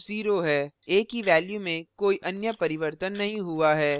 a की value में कोई अन्य परिवर्तन नहीं हुआ है